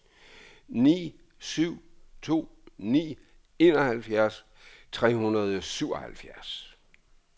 ni syv to ni enoghalvfjerds tre hundrede og syvoghalvfjerds